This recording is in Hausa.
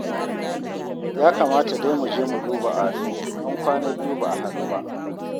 Ya kamata dai mu je mu duba Ado, an kwana biyu ba a haɗu ba